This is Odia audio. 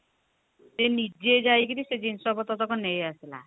ସେ ନିଜେ ଯାଇ କିରି ସେ ଜିନିଷ ପତ୍ର ତକ ନେଇ ଆସିଲା